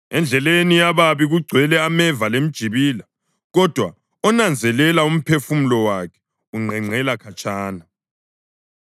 Endleleni yababi kugcwele ameva lemjibila, kodwa onanzelela umphefumulo wakhe unqenqela khatshana.